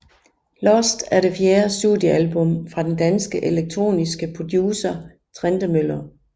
Lost er det fjerde studiealbum fra den danske elektroniske producer Trentemøller